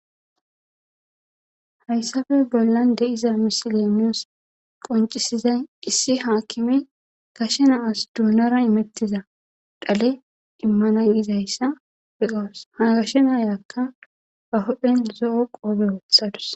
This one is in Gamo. hayssafe bollan de7iza misilemiyos qoncisiza qissi haakkime gashe naas duunara imettiza dhale immana yizayssa beqaws ha gashe naayakka ba hodphen zo7o qoobe woothadus